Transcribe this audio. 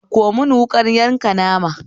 Ɗauko mun wuƙar yanka nama